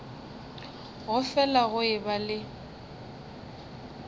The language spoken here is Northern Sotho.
go fele go eba le